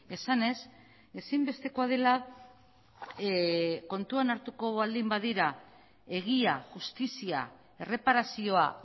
esanez ezinbestekoa dela kontuan hartuko baldin badira egia justizia erreparazioa